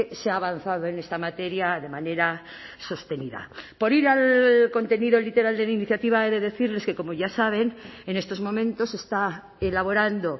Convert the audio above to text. se ha avanzado en esta materia de manera sostenida por ir al contenido literal de la iniciativa he de decirles que como ya saben en estos momentos se está elaborando